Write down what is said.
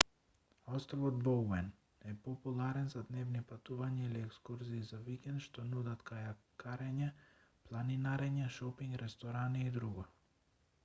островот боуен е популарен за дневни патувања или екскурзии за викенд што нудат кајакарење планинарење шопинг ресторани и друго